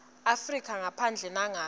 afrika ngaphandle nangabe